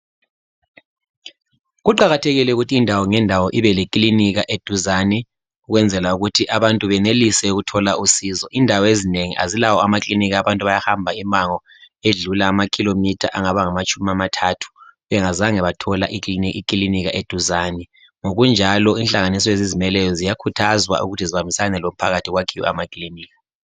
Kuqakathekile ukuthi indawo ngendawo ibe lekilinika eduzane .Ukwenzela ukuthi abantu benelise ukuthola usizo .Indawo ezinengi azilawo amakilinika abantu bayahamba imango edlula amakhilomatha angaba ngamatshumi amathathu bengazange bathola ikilinika eduzane .Ngokunjalo inhlanganiso ezizimeleyo ziyakhuthazwa ukuthi zibambisane lomphakathi kwakhiwe amakiliniki.